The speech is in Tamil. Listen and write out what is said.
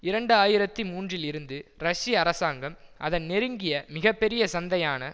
இரண்டு ஆயிரத்தி மூன்றில் இருந்து ரஷ்ய அரசாங்கம் அதன் நெருங்கிய மிக பெரிய சந்தையான